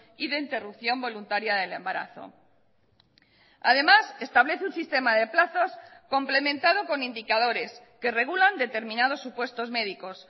y de interrupción voluntaria del embarazo además establece un sistema de plazos complementado con indicadores que regulan determinados supuestos médicos